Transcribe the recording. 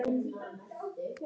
Þinn Þórður.